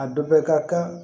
A dɔ bɛ ka kan